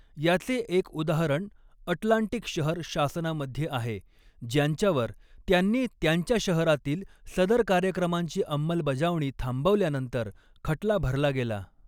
याचे एक उदाहरण अटलांटिक शहर शासनामध्ये आहे ज्यांच्यावर त्यांनी त्यांच्या शहरातील सदर कार्यक्रमांची अंमलबजावणी थांबवल्यानंतर खटला भरला गेला.